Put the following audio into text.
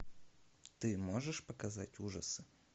ты можешь показать ужасы